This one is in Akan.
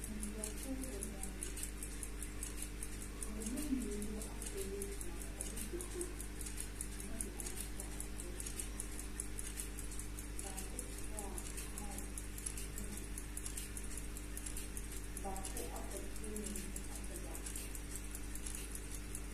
Nkrɔfo wɔ dan mu. Ɔmo mu mmienu asɔre agyina hɔ. Ɔmo hyɛ kot. Ɔmo de ɔmo nsa akyerɛkyerɛ ɔmo ho so. Baako te hɔ a maik ɛsi n'ano. Baako apɔkyere n'ani ahwɛ baako.